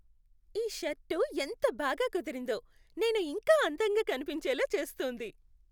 ఈ షర్టు ఎంత బాగా కుదిరిందో. నేను ఇంకా అందంగా కనిపించేలా చేస్తుంది.